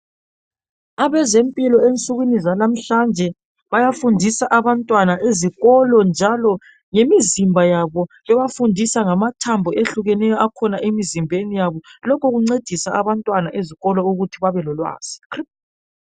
Abezempilo ensukwini zalamhlanje bayafundisa abantwana ezikolo njalo ngemizimba yabo, bebafundisa ngamathambo ehlukeneyo akhona emizimbeni yabo, lokhu kuncedisa abantwana ezikolo ukuthi babe lolwazi,.